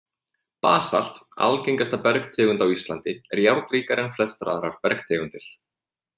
Basalt, algengasta bergtegund á Íslandi, er járnríkari en flestar aðrar bergtegundir.